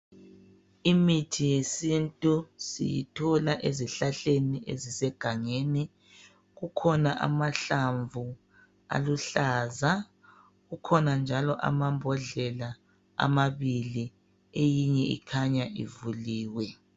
Imithi yesintu siyithola ezihlahleni ezisebangeni. Kukhona amahlamvu aluhlaza kukhona njalo amabhodlela amabili eyinye ikhanya ivuliwe.